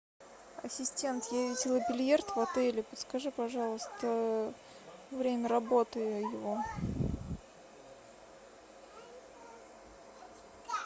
ассистент я видела бильярд в отеле подскажи пожалуйста время работы его